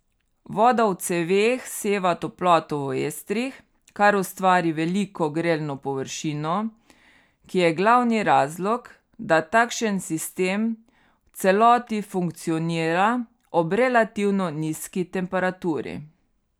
Voda v ceveh seva toploto v estrih, kar ustvari veliko grelno površino, ki je glavni razlog, da takšen sistem v celoti funkcionira ob relativno nizki temperaturi.